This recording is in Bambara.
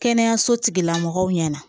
Kɛnɛyaso tigila mɔgɔw ɲɛna